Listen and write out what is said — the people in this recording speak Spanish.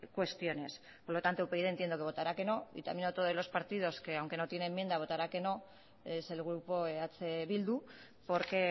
cuestiones por lo tanto upyd entiendo que votará que no y también otro de los partidos que aunque no tiene enmienda votará que no es el grupo eh bildu porque